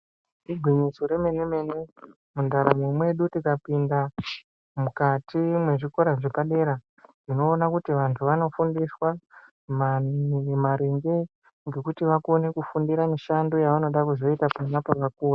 Igwinyiso remene mene Mundaramo medu tikapinda mukati mezvikora vantu vanoporiswa maringe ngekuti vakone kufundira mishando yavachada kuzoita pona apopakukona.